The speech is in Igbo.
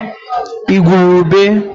igwurube